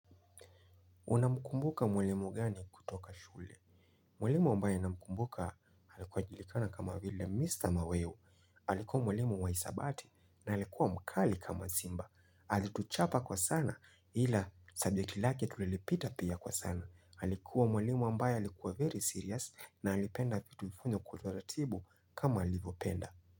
Unamkumbuka mwalimu gani kutoka shule? Mwalimu ambaye namkumbuka alikuwa ajulikana kama vile Mr. Maweo. Allikuwa mwalimu wa hisabati na alikuwa mkali kama simba. Alituchapa kwa sana ila subject lake tulilipita pia kwa sana. Allikuwa mwalimu ambaye alikuwa very serious na alipenda vitu vifanywe kwa utaratibu kama alivyopenda.